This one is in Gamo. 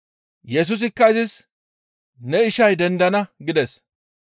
Yesusikka izis, «Ne ishay dendana» gides.